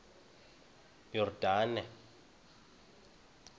yordane